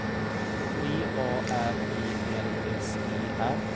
V A R E L S E R